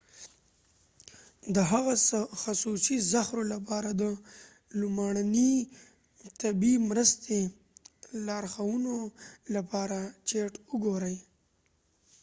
د هغه خصوصي زهرو لپاره د لومړنۍ طبي مرستې لارښوونو لپاره چیټ وګورئ